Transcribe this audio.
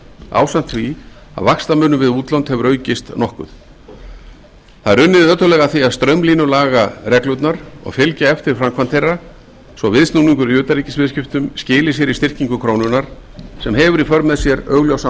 ásamt því að vaxtamunur við útlönd hefur aukist nokkuð það er unnið ötullega að því að straumlínulaga reglurnar og fylgja eftir framkvæmd þeirra svo viðsnúningur í utanríkisviðskiptum skili sér í styrkingu krónunnar sem hefur í för með sér augljósan